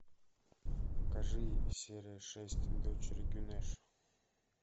покажи серия шесть дочери гюнеш